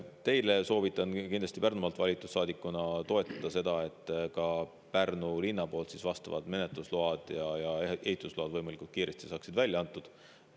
Teil Pärnumaalt valitud saadikuna soovitan kindlasti toetada seda, et ka Pärnu linn vastavad menetlusload ja ehitusload võimalikult kiiresti välja annaks.